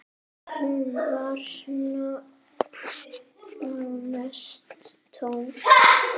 Hún var nánast tóm.